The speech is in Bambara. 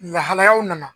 Lahalayaw nana